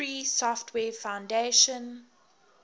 free software foundation